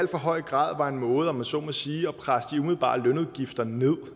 høj grad var en måde om jeg så må sige at presse de umiddelbare lønudgifter ned